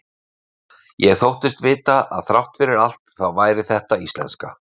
Ég þóttist vita að þrátt fyrir allt þá væri þetta íslenska.